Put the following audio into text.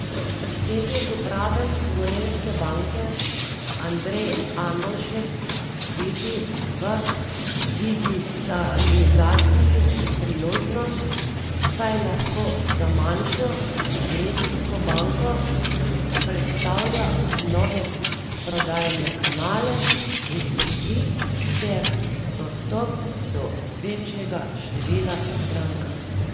Predsednik uprave Gorenjske banke Andrej Andoljšek vidi v digitalizaciji priložnost, saj lahko za manjšo regijsko banko predstavlja nove prodajne kanale in poti ter dostop do večjega števila strank.